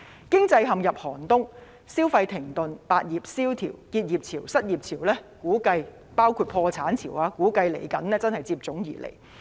經濟陷入寒冬，消費停頓，百業蕭條，結業潮、失業潮，包括破產潮，估計真是接踵而至。